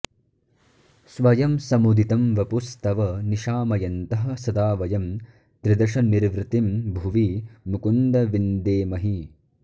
स्वयं समुदितं वपुस्तव निशामयन्तः सदा वयं त्रिदशनिर्वृतिं भुवि मुकुन्द विन्देमहि